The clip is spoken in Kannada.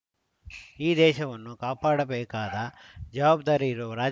ಈ ದೇಶವನ್ನು ಕಾಪಾಡಬೇಕಾದ ಜವಾಬ್ದಾರಿ ಇರುವ ರಾಜ